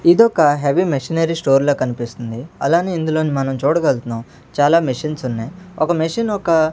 ఇదొక heavy machinery store లా కనిపిస్తుంది అలానే ఇందులో మనం చూడగల్గుతున్నాం చాలా మెషన్స్ ఉన్నాయ్ ఒక మెషన్ యొక్క --